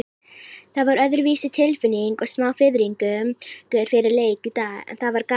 Það var öðruvísi tilfinning og smá fiðringur fyrir leik í dag, en það var gaman.